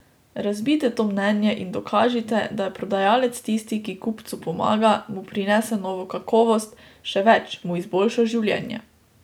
Razbijte to mnenje in dokažite, da je prodajalec tisti, ki kupcu pomaga, mu prinese novo kakovost, še več, mu izboljša življenje.